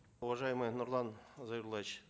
уважаемый нурлан зайроллаевич